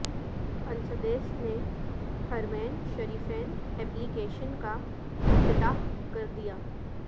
السدیس نے حرمین شریفین ایپلی کیشن کا افتتاح کردیا